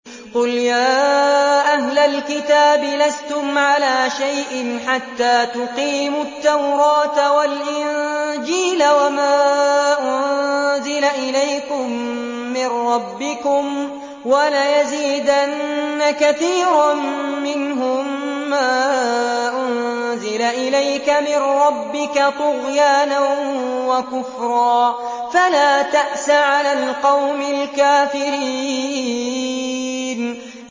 قُلْ يَا أَهْلَ الْكِتَابِ لَسْتُمْ عَلَىٰ شَيْءٍ حَتَّىٰ تُقِيمُوا التَّوْرَاةَ وَالْإِنجِيلَ وَمَا أُنزِلَ إِلَيْكُم مِّن رَّبِّكُمْ ۗ وَلَيَزِيدَنَّ كَثِيرًا مِّنْهُم مَّا أُنزِلَ إِلَيْكَ مِن رَّبِّكَ طُغْيَانًا وَكُفْرًا ۖ فَلَا تَأْسَ عَلَى الْقَوْمِ الْكَافِرِينَ